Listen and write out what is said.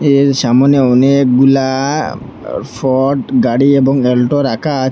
এর সামনে অনেকগুলা আ ফর্ড গাড়ি এবং এলটো রাখা আ--